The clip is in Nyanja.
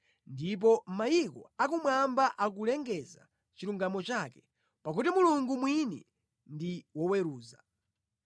Ndipo mayiko akumwamba akulengeza chilungamo chake, pakuti Mulungu mwini ndi woweruza.